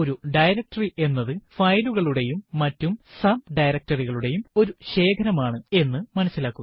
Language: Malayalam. ഒരു ഡയറക്ടറി എന്നത് ഫയലുകളുടെയും മറ്റു ഡയറക്ടറി കളുടെയും ഒരു ശേഖരം ആണ് എന്ന് മനസിലാക്കുക